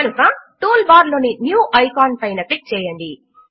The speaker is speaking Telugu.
కనుక టూల్ బార్ లోని న్యూ ఐకాన్ పైన క్లిక్ చేయండి